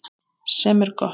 Sem er gott.